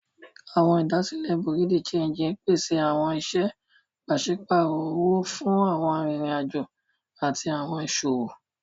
Awọn idasile Bureau de change pese awọn iṣẹ paṣipaarọ owo fun awọn aririn ajo ati awọn iṣowo.